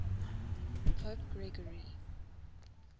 pope gregory